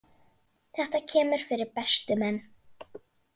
Þetta kemur fyrir bestu menn.